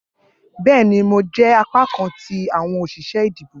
Bẹẹni, Mo jẹ apakan ti awọn oṣiṣẹ idibo.